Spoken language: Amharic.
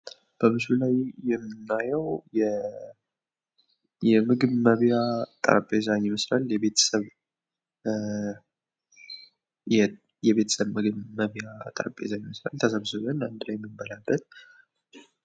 በምስሉ ላይ የምናየው የምግብ መብያ ጠረጴዛን ይመስላል። የቤተሰብ መብያ ጠረጴዛን ይመስላል። ተሰብስበን አንድ ላይ ምንበላበት።